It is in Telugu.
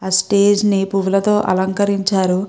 ఆ స్టేజి ని పూలతో అలరించారు.